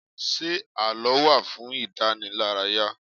Ṣé àlọ́ wá fún ìdànílárayà?